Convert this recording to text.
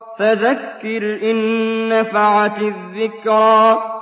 فَذَكِّرْ إِن نَّفَعَتِ الذِّكْرَىٰ